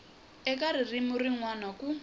eka ririmi rin wana ku